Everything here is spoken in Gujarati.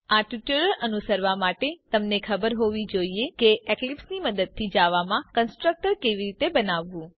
આ ટ્યુટોરીયલ અનુસરવા માટે તમને ખબર હોવી જોઈએ કે એક્લીપ્સની મદદથી જાવામાં કન્સ્ટ્રકટર કેવી રીતે બનાવવું